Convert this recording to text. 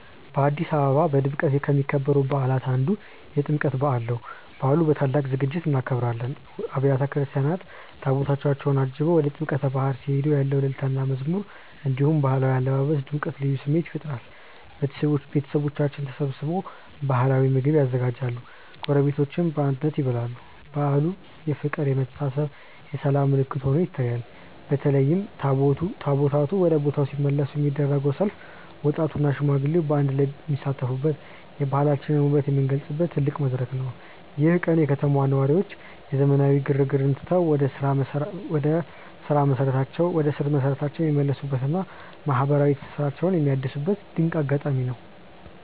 በአዲስ አበባ በድምቀት ከሚከበሩ በዓላት አንዱ የጥምቀት በዓል ነው። በዓሉን በታላቅ ዝግጅት እናከብራለን። አብያተ ክርስቲያናት ታቦታታቸውን አጅበው ወደ ጥምቀተ ባሕር ሲሄዱ ያለው እልልታና መዝሙር፣ እንዲሁም የባህላዊ አለባበስ ድምቀት ልዩ ስሜት ይፈጥራል። ቤተሰቦቻችን ተሰብስበው ባህላዊ ምግቦችን ያዘጋጃሉ፤ ጎረቤቶችም በአንድነት ይበላሉ። በዓሉ የፍቅር፣ የመተሳሰብና የሰላም ምልክት ሆኖ ይታያል። በተለይም ታቦታቱ ወደ ቦታው ሲመለሱ የሚደረገው ሰልፍ ወጣቱና ሽማግሌው በአንድነት የሚሳተፉበት፣ የባህላችንን ውበት የምንገልጽበት ትልቅ መድረክ ነው። ይህ ቀን የከተማዋ ነዋሪዎች የዘመናዊነት ግርግርን ትተው ወደ ስር መሰረታቸው የሚመለሱበትና ማህበራዊ ትስስራቸውን የሚያድሱበት ድንቅ አጋጣሚ ነው።